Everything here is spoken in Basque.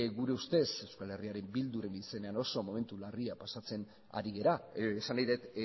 gure ustez eh bildu ren izenean oso momentu larri pasatzen ari gera esan nahi dut